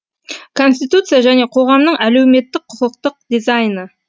конституция және қоғамның әлеуметтік құқықтық дизайны